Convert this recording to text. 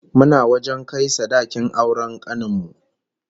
Muna wajen kai sadakin auren kanin mu